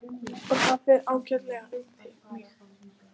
Og það fer ágætlega um mig.